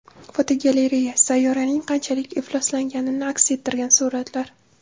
Fotogalereya: Sayyoraning qanchalik ifloslanganini aks ettirgan suratlar.